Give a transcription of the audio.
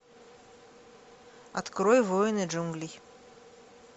открой воины джунглей